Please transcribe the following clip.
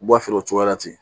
U b'a feere o cogoya la ten